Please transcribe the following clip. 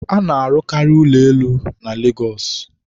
a na-arụkarị ụlọ elu na Lagos